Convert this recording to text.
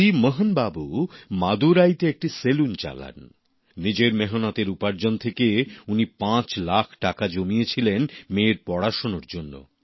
C Mohanbabu মাদুরাইতে একটি saloon চালান। নিজের মেহনতের উপার্জন থেকে উনি পাঁচ লাখ টাকা জমিয়েছিলেন মেয়ের পড়াশোনার জন্যে